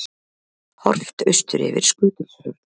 Horft austur yfir Skutulsfjörð.